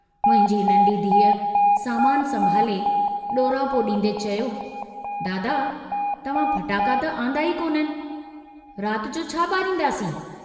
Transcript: मुंहिंजी नन्ढी धीअ सामान संभाले डोरापो डींदे चयो, दादा, तव्हां फटाका त आन्दा ई कोन्हनि, रात जो छा बारींदासीं।